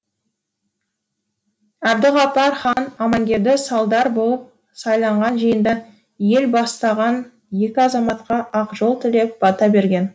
әбдіғапар хан аманкелді сардар болып сайланған жиында ел бастаған екі азаматқа ақ жол тілеп бата берген